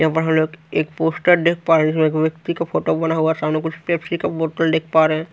यहां पर हमलोग एक पोस्टर देख पा रहे एक व्यक्ति का फोटो बना हुआ सामने कुछ पेप्सी का बॉटल देख पा रहें--